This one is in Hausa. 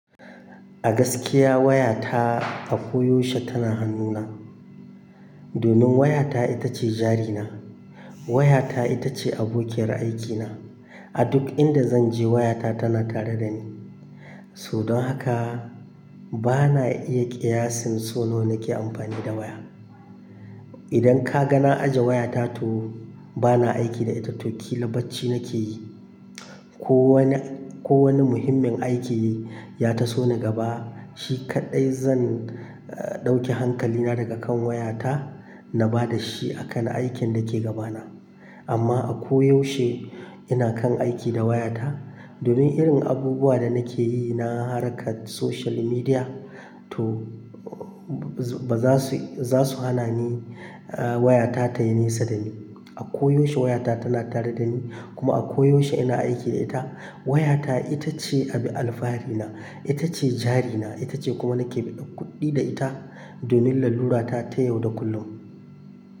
A gaskiya wayata a koyaushe tana hannuna. Domin wayata ita ce jarina. Wayata ita ce abokiyar aikina. A duk inda zan je wayata tana tare da ni. So dan haka bana iya ƙiyasin so na nake amfani da waya. Idan ka ga na aje wayata toh bana aiki da ita toh ƙila bacci nake yi. Ko wani, ko wani muhimmin aiki ya taso na gaba shi kaɗai zan, eh ɗauki hankalina daga kan wayata na ba da shi a kan aikin da ke gaba na. Amma a koyaushe ina kan aiki da wayata. Domin irin abubuwa da nake yi na harkar social media toh ba za su, za su hana ni, eh wayata tayi nesa da ni. A koyaushe wayata tana tare da ni kuma a koyaushe ina aiki da ita. Wayata ita ce abin alfahari na, ita ce jarina, ita ce kuma nake biɗan kuɗi da ita domin lalura ta ta yau da kullum.